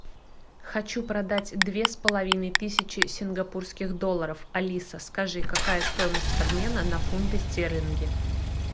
хочу продать две с половиной тысячи сингапурских долларов алиса скажи какая стоимость обмена на фунты стерлинги